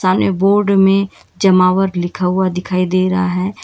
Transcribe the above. एने बोर्ड में जमावर लिखा हुआ दिखाई दे रहा है।